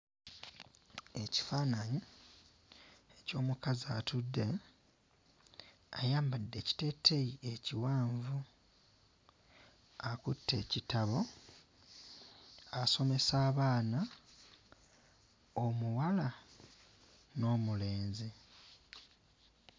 Ekifaananyi eky'omukazi atudde. Ayambadde ekiteeteeyi ekiwanvu. Akutte ekitabo asomesa abaana; omuwala n'omulenzi.